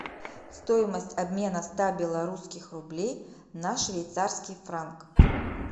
стоимость обмена ста белорусских рублей на швейцарский франк